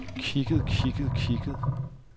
kigget kigget kigget